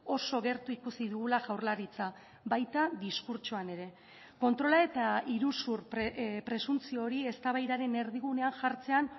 oso gertu ikusi dugula jaurlaritza baita diskurtsoan ere kontrola eta iruzur presuntzio hori eztabaidaren erdigunean jartzean